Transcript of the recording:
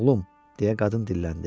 Oğlum, deyə qadın dilləndi.